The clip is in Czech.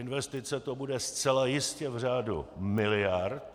Investice to bude zcela jistě v řádu miliard.